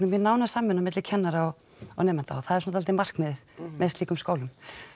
við nána samvinnu milli kennara og nemenda það er dálítið markmiðið með slíkum skólum